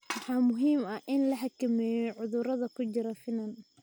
Waxaa muhiim ah in la xakameeyo cudurrada ku jira finan